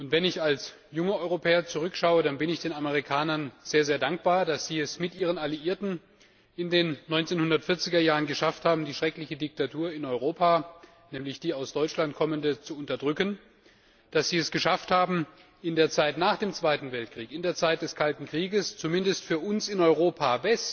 Wenn ich zurückschaue, dann bin ich den Amerikanern sehr dankbar, dass sie es mit ihren Alliierten in den 1940er Jahren geschafft haben, die schreckliche Diktatur in Europa, nämlich die aus Deutschland kommende, zu beseitigen, dass sie es geschafft haben, in der Zeit nach dem Zweiten Weltkrieg, in der Zeit des Kalten Krieges zumindest für uns in Westeuropa